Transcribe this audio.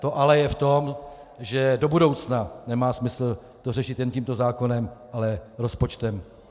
To ale je v tom, že do budoucna nemá smysl to řešit jen tímto zákonem, ale rozpočtem.